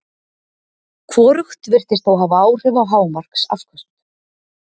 Hvorugt virðist þó hafa áhrif á hámarksafköst.